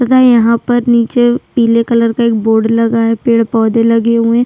तथा यहाँ पर नीचे पिले कलर का एक बोर्ड लगा हुआ है पेड़-पौधे लगे हुए --